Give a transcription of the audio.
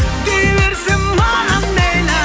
дей берсін маған мейлі